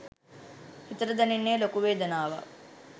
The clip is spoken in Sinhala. හිතට දැනෙන්නේ ලොකු වේදනාවක්.